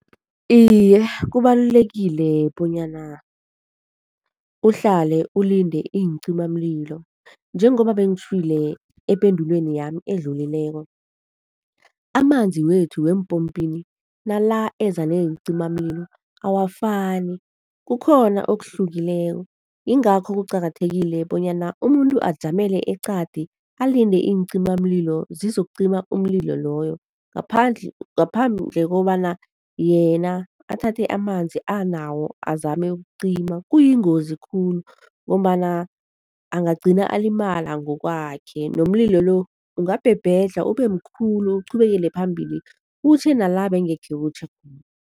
Iye, kubalulekile bonyana uhlale ulinde iincimamlilo njengoba bengitjhwile ependulweni yami edlulileko, amanzi wethu weempopini nala eza neencimamamlilo awafani. Kukhona okuhlukileko, yingakho kuqakathekile bonyana umuntu ajamele eqadi alinde iincimamlilo zizokucima umlilo loyo ngaphandle ngaphandle kobana yena athathe amanzi anawo azame ukucima. Kuyingozi khulu ngombana angagcina alimala ngokwakhe nomlilo lo ungabhebhedlha ube mkhulu, uqhubekele phambili kutjhe nala bengekhe kutjhe